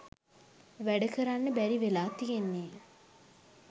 වැඩ කරන්න බැරි වෙලා තියෙන්නේ